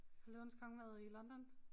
Har Løvernes Konge været i London?